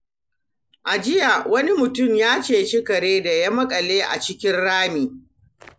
A jiya, wani mutum ya ceci kare da ya makale a cikin rami.